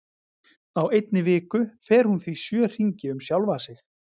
Á einni viku fer hún því sjö hringi um sjálfa sig.